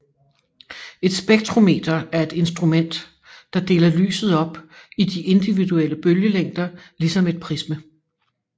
Et spektrometer er et instrument der deler lyset op i de individuelle bølgelængder ligesom et prisme